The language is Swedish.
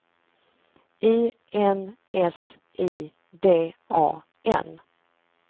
I N S I D A N